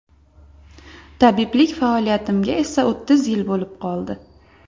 Tabiblik faoliyatimga esa o‘ttiz yil bo‘lib qoldi.